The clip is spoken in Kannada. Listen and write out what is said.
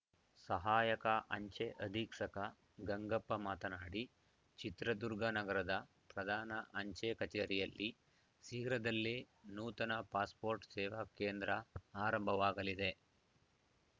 ಸಹಾಯಕ ಅಂಚೆ ಅಧೀಕ್ಷಕ ಗಂಗಪ್ಪ ಮಾತನಾಡಿ ಚಿತ್ರದುರ್ಗ ನಗರದ ಪ್ರಧಾನ ಅಂಚೆ ಕಚೇರಿಯಲ್ಲಿ ಶೀಘ್ರದಲ್ಲೇ ನೂತನ ಪಾಸ್‌ಪೋರ್ಟ್‌ ಸೇವಾ ಕೇಂದ್ರ ಆರಂಭವಾಗಲಿದೆ